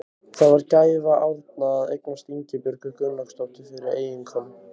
Það var gæfa Árna að eignast Ingibjörgu Gunnlaugsdóttur fyrir eiginkonu.